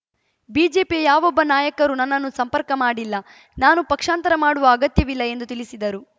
ಬಿಜೆಪಿಯ ಯಾವೊಬ್ಬ ನಾಯಕರೂ ನನ್ನನ್ನು ಸಂಪರ್ಕ ಮಾಡಿಲ್ಲ ನಾನು ಪಕ್ಷಾಂತರ ಮಾಡುವ ಅಗತ್ಯವಿಲ್ಲ ಎಂದು ತಿಳಿಸಿದರು